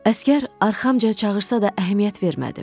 Əsgər arxamca çağırsa da əhəmiyyət vermədim.